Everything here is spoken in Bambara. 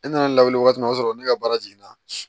E nana lawuli waati min o y'a sɔrɔ ne ka baara jiginna